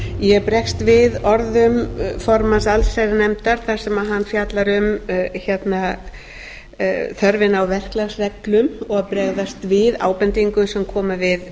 ég bregst við orðum formanns allsherjarnefndar þar sem hann fjallar um þörfina á verklagsreglum og bregðast við ábendingum sem koma við